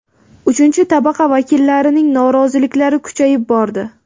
Uchinchi tabaqa vakillarining noroziliklari kuchayib bordi.